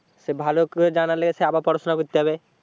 সে ভালো করে জানার লগে সে আবার পড়াশোনা করতে হবে,